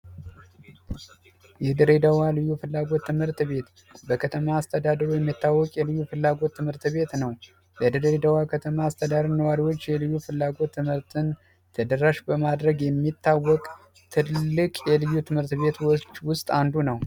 የድሬዳዋ ልዩ ፍላጎት ትምህርት ቤት በከተማ አስተዳደሩ የሚታወቅ የልዩ ፍላጎት ትምህርት ቤት ነው። የድሬዳዋ ከተማ አስተዳደር ነዋሪዎች የልዩ ፍላጎት ትምህርትን ተደራሽ በማድረግ የሚታወቅ ትልቅ የልዩ ትምህርት ቤቶች ውስጥ አንዱ ነው።